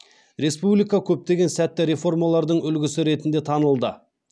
республика көптеген сәтті реформалардың үлгісі ретінде танылды